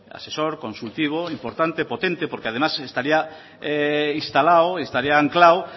asesor consultivo importante potente porque además estaría instalado estaría anclado